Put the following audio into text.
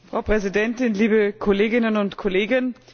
Frau Präsidentin, liebe Kolleginnen und Kollegen!